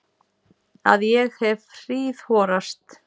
Að ég hef hríðhorast.